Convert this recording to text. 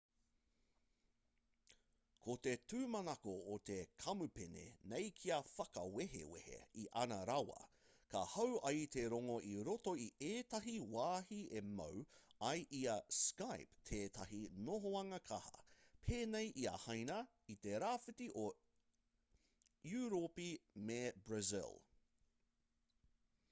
ko te tūmanako o te kamupene nei kia whakawehwehe i ana rawa ka hau ai te rongo i roto i ētahi wāhi e mau ai i a skype tētahi nohoanga kaha pēnei i a haina i te rāwhiti o europi me brazil